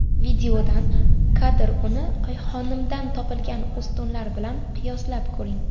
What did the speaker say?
Videodan kadr Uni Oyxonimdan topilgan ustunlar bilan qiyoslab ko‘ring.